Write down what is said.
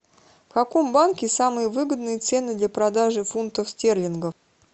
в каком банке самые выгодные цены для продажи фунтов стерлингов